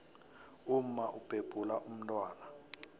umma ubhebhula umntwana